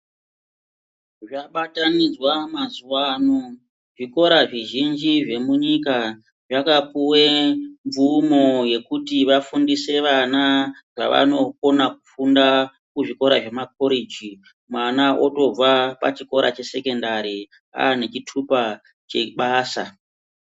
Zvabatanidzwa mazuwa ano, zvikora zvizhinji zvemunyika zvakapiwe mvumo yekuti vafundise vana zvavanokona kufunda kuzvikora zvemakoreji mwana otobva pachikora chesekondari ane chitupa chebasa.